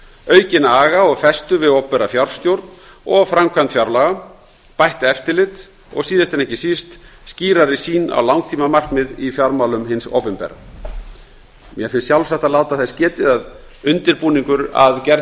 aukinn aga og festu við opinbera fjárstjórn og framkvæmd fjárlaga bætt eftirlit og síðast en ekki síst skýrari sýn á langtímamarkmið í fjármálum hins opinbera mér finnst sjálfsagt að láta þess getið að undirbúningur að gerð